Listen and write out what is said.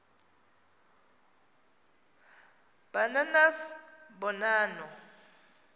ba nanas bonanno